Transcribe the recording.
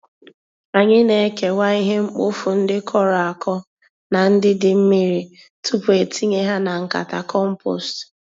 Anyị na-ekewa ihe mkpofu ndị kọrọ-akọ na ndị dị mmiri, tupu e tinye ha na nkata compost.